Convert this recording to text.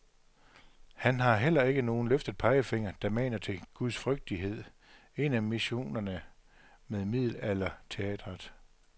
Han har heller ikke nogen løftet pegefinger, der maner til gudsfrygtighed, en af missionerne med middelalderteatret.